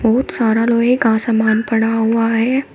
बहुत सारा लोहे का सामान पड़ा हुआ है।